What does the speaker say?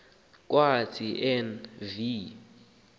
kwathi en v